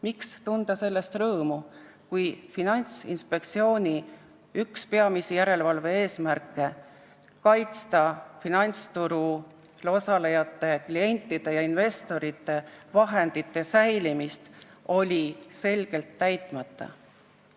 Miks tunda rõõmu sellest, kui Finantsinspektsiooni järelevalve üks peamisi eesmärke, kaitsta finantsturul osalejate, klientide ja investorite vahendite säilimist, oli selgelt täitmata?